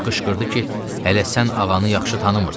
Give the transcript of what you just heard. Qışqırdı ki, hələ sən ağanı yaxşı tanımırsan.